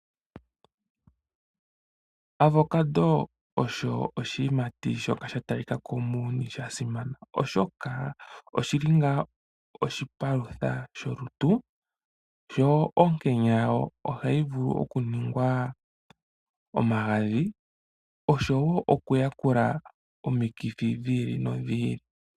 Avocado osho oshiyimati shoka sha talika ko muuyuni sha simana, oshoka oshi li onga oshipalutha sholutu, yo onkenya yayo ohayi vulu okuningwa omagadhi, osho wo okuyakula omikithi dhi ili nodhi ili.